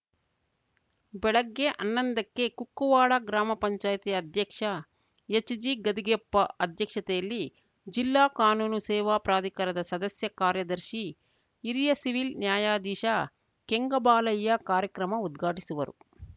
ಬೆಳಗ್ಗೆ ಹನ್ನೊಂದಕ್ಕೆ ಕುಕ್ಕುವಾಡ ಗ್ರಾಮ ಪಂಚಾಯತಿ ಅಧ್ಯಕ್ಷ ಎಚ್‌ಜಿಗದಿಗೆಪ್ಪ ಅಧ್ಯಕ್ಷತೆಯಲ್ಲಿ ಜಿಲ್ಲಾ ಕಾನೂನು ಸೇವಾ ಪ್ರಾಧಿಕಾರದ ಸದಸ್ಯ ಕಾರ್ಯದರ್ಶಿ ಹಿರಿಯ ಸಿವಿಲ್‌ ನ್ಯಾಯಾಧೀಶ ಕೆಂಗಬಾಲಯ್ಯ ಕಾರ್ಯಕ್ರಮ ಉದ್ಘಾಟಿಸುವರು